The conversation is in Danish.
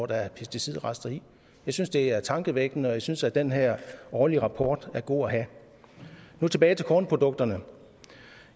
der er pesticidrester i jeg synes det er tankevækkende og jeg synes at den her årlige rapport er god at have nu tilbage til kornprodukterne